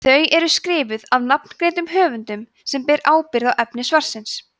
þau eru skrifuð af nafngreindum höfundum sem bera ábyrgð á efni svarsins